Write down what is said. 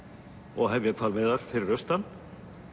og hefja hvalveiðar fyrir austan